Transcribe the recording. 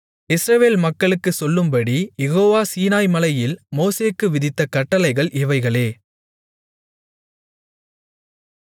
இஸ்ரவேல் மக்களுக்குச் சொல்லும்படி யெகோவா சீனாய்மலையில் மோசேக்கு விதித்த கட்டளைகள் இவைகளே